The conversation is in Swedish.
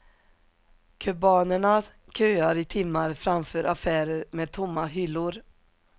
Kubanerna köar i timmar framför affärer med tomma hyllor.